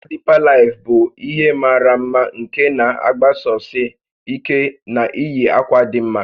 Ụka Deeper Life bụ ihe mara mma nke na-agbasosi ike na iyi akwa dị mma